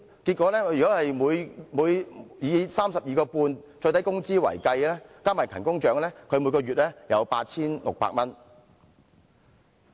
如果以 32.5 元最低工資計算，加上勤工獎，她每月有 8,600 元。